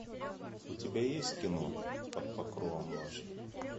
у тебя есть кино под покровом ночи